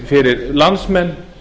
fyrir landsmenn